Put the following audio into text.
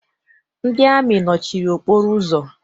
Ndị amị nọchiri okporo ụzọ.